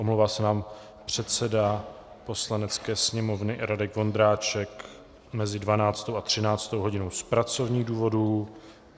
Omlouvá se nám předseda Poslanecké sněmovny Radek Vondráček mezi 12. a 13. hodinou z pracovních důvodů.